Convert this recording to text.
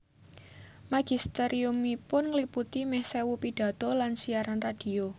Magisteriumipun ngliputi mèh sewu pidhato lan siaran radio